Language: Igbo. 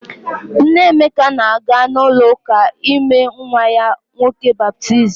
Nne Emeka na-aga ụlọụka ime nwa ya nwoke baptizim.